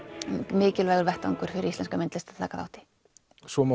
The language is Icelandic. mikilvægur vettvangur fyrir íslenska myndlist að taka þátt í svo má